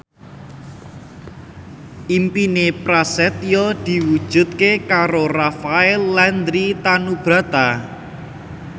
impine Prasetyo diwujudke karo Rafael Landry Tanubrata